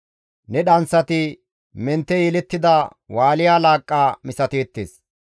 Ne dhanththati mentte yelettida Wusha laaqqa misateettes.